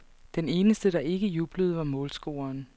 Den eneste, der ikke jublede, var målscoreren.